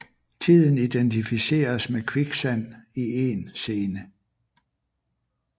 Tiden identificeres med kviksand i én scene